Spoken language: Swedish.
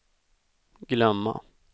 glömma